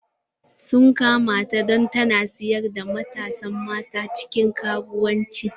Sun kama ta don tana sayar da matasa mata cikin karuwanci.